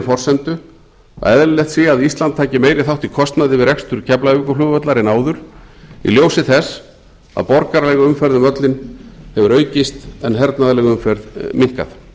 forsendu að eðlilegt sé að ísland taki meiri þátt í kostnaði við rekstur keflavíkurflugvallar en áður í ljósi þess að borgaraleg umferð um völlinn hefur aukist en hernaðarleg umferð minnkað